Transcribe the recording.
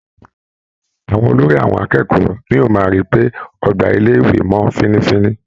Àwọn olórí àwọn akẹ́kọ̀ọ́ ní o máa ń rí pé ọgbà ilé - ìwé mọ́ fínnífínní.